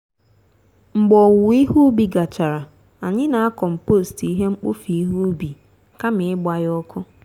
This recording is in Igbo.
mgbe owuwọ ihe ubi gachara anyị na a compost ihe mkpofu ihe ubi kama ịgba ya ọkụ.